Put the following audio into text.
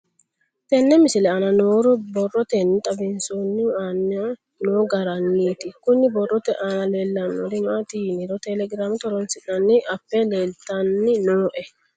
Tenne misile aana noore borroteni xawiseemohu aane noo gariniiti. Kunni borrote aana leelanori maati yiniro telegramete horonsinanni appe leeltanni nooe.